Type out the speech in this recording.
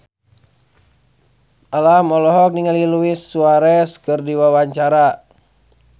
Alam olohok ningali Luis Suarez keur diwawancara